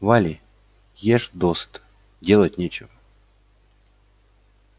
вали ешь досыта делать нечего